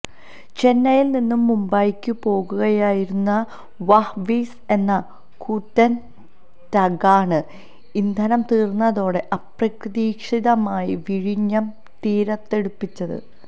ചെന്നൈയിൽ നിന്ന് മുംബൈക്ക് പോവുകയായിരുന്ന വാഹ് വീസ് എന്ന കൂറ്റൻ ടഗ്ഗാണ് ഇന്ധനം തീർന്നതോടെ അപ്രതീക്ഷിതമായി വിഴിഞ്ഞം തീരത്തടുപ്പിച്ചത്